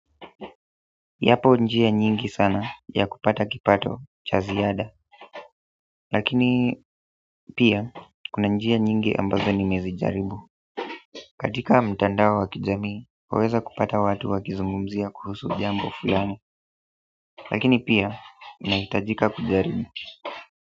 Yapo njia nyingi sana ya kupata kipato cha ziada lakini pia kuna njia nyingi ambazo nimezi jaribu katika mtandao wa kijamii waweza kupata watu wakizungumzia kuhusu jambo fulani lakini pia inahitajika kujaribu.